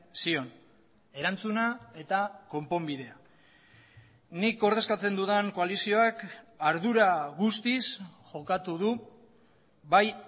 zion erantzuna eta konponbidea nik ordezkatzen dudan koalizioak ardura guztiz jokatu du bai